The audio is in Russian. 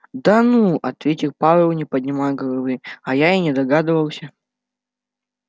да ну ответил пауэлл не поднимая головы а я и не догадывался